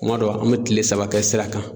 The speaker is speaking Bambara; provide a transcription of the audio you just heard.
Kuma dɔ an mɛ kile saba kɛ sira kan.